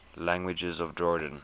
languages of jordan